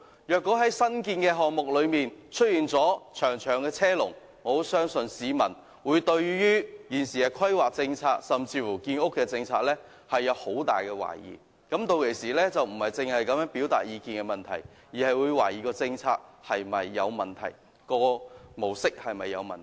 若在新建項目中出現長長車龍，我相信市民會對現時的規劃政策，甚至建屋政策，抱有很大懷疑，屆時他們不只會表達意見，更會懷疑有關政策和模式是否存在問題。